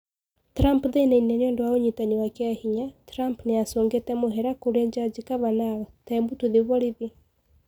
Trump thina-ini niũndũ wa ũnyitani wa kiahinya Trump niacungite mũhera kũri Jaji Kavanaugh "Tebu tũthie borithi."